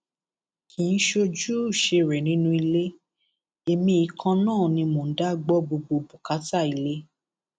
kì í ṣojúṣe rẹ nínú ilé èmi yìí kan náà ni mò ń dá gbọ gbogbo bùkátà ilé